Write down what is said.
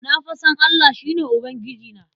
Na fa san Allah, shi ne Ubangijina.